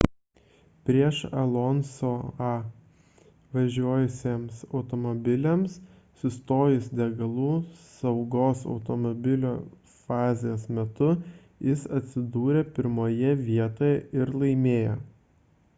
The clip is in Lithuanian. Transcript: prieš alonso'ą važiavusiems automobiliams sustojus degalų saugos automobilio fazės metu jis atsidūrė pirmoje vietoje ir laimėjo